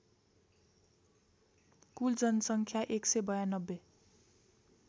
कुल जनसङ्ख्या १९२